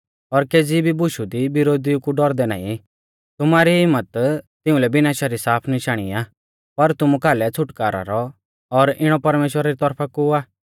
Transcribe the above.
और केज़ी भी बुशु दी बिरोधिऊ कु डौरदै नाईं तुमारी हिम्मत तिंउलै विनाशा री साफ निशाणी आ पर तुमु कालै छ़ुटकारौ रौ और इणौ परमेश्‍वरा री तौरफा कु आ